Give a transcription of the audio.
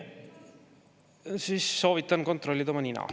Siis soovitan kontrollida oma nina.